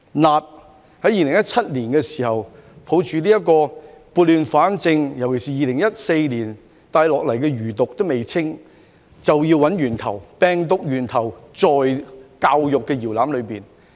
辣，在2017年的時候，抱着撥亂反正的精神，尤其是2014年遺留下來的餘毒尚未清，就要找源頭，原來病毒源頭在教育的搖籃裏。